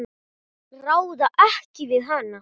Ráða ekki við hann.